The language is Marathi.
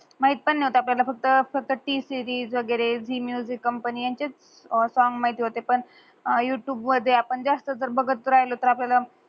माहित पण नाही होता आपल्याला फक्त T-series वगेरे Zee music company सॉंग माहिती होते पण युटूब वर ते आपण जास्त बगत राहिलो तर आपल्याल